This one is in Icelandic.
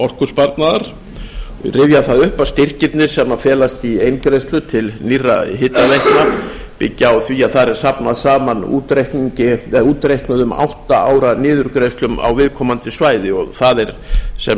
orkusparnaðar og ég rifja það upp að styrkirnir sem felast í eingreiðslu til nýrra hitaveitna byggja á því að þar er safnað saman útreiknuðum átta ára niðurgreiðslum á viðkomandi svæði og það er sem